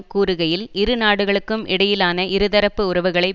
கூறுகையில் இரு நாடுகளுக்கும் இடையிலான இருதரப்பு உறவுகளை